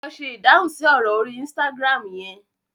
lọ se Ìdáhùn si ọrọ orí Instagram yen!